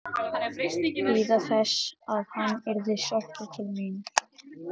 Bíða þess að hann yrði sóttur til mín?